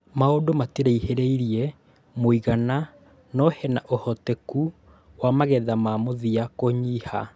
Maundũ matiraihĩrĩirie mũigana no hena ũhoteku wa magetha ma mũthia kunyiha